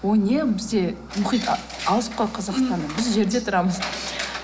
ол не бізде мұхит алыс қой қазақстаннан біз жерде тұрамыз